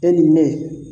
E ni ne